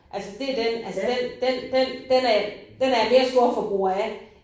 Altså det er den altså den den den den er jeg den er jeg mere storforbruger af